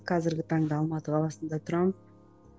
қазірге таңда алматы қаласында тұрамын